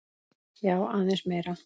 Já, aðeins meira.